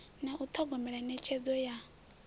na u thogomela netshedzo ya